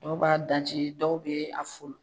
Dɔw b'a daji ,dɔw be a folon.